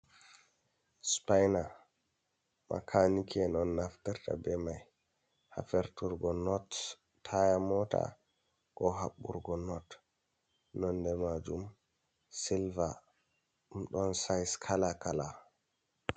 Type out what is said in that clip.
Sipayna, makaaniki en on naftirta bee may haa firturgo not taaya moota, koo haɓɓurgo not. Nonnde maajum silva ɗum ɗon sayis kalaa-kalaa.